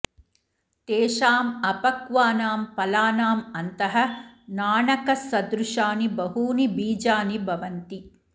तेषाम् अपक्वानां फलानाम् अन्तः नाणकसदृशानि बहूनि बीजानि भवन्ति